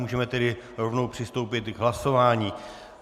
Můžeme tedy rovnou přistoupit k hlasování.